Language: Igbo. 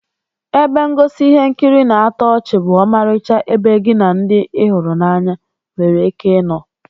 Ebe ngosi ihe nkiri na-atọ ọchị bụ ọmarịcha ebe gi na ndi ị hụrụ n'anya were ike ino